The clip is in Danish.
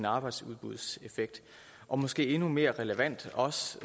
arbejdsudbudseffekt og måske endnu mere relevant også